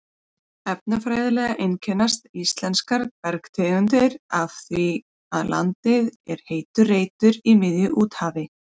Efnafræðilega einkennast íslenskar bergtegundir af því að landið er heitur reitur í miðju úthafi.